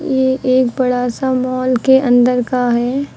ये एक बड़ा सा मॉल के अंदर का है।